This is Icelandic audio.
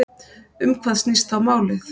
Um hvað snýst þá málið?